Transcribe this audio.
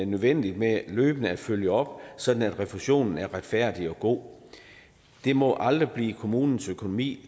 nødvendigt med løbende at følge op sådan at refusionen er retfærdig og god det må aldrig blive kommunens økonomi